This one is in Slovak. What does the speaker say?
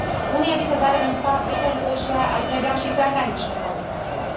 Únia by sa zároveň stala príťažlivejšia aj pre ďalších zahraničných podnikateľov.